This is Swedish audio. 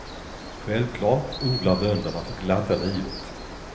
Självklart odlar bönderna för glatta livet.